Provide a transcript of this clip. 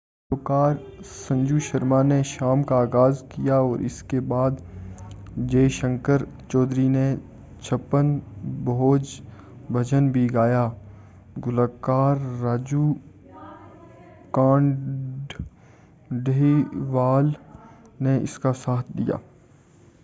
گلوکار سنجو شرما نے شام کا آغاز کیا اور اس کے بعد جے شنکر چودھری نے چھپن بھوج بھجن بھی گایا گلوکار راجو کانڈھیلوال نے اس کا ساتھ دیا